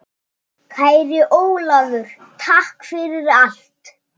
Kæri Ólafur, takk fyrir allt.